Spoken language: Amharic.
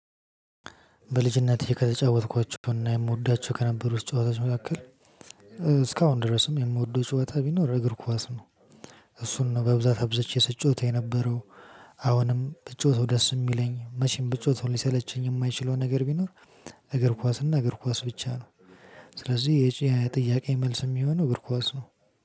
በልጅነቴ ከተጫወትኳቸውና የምወዳቸው ከነበሩት ጨዋታዎች መካከል እስካሁን ድረስም የምወደው ጩኸታ ቢኖር እግር ኳስ ነው። እሱን ነው በብዛት አብዝቼ ስጫወት የነበረው። አሁንም ብጫወተው ደስ የሚለኝ መቼም ብጫወተው ሊሰለቸኝ የማይችለውን ነገር ቢኖር። እግር ኳስና እግር ኳስ ብቻ ነው። ስለዚህ ጥያቄ መልስ የሚሆነው እግር ኳስ ነው